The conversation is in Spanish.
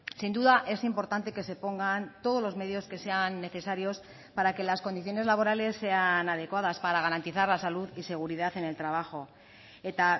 sin duda es importante que se pongan todos los medios que sean necesarios para que las condiciones laborales sean adecuadas para garantizar la salud y seguridad en el trabajo eta